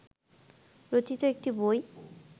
রচিত একটি বই